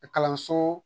Kalanso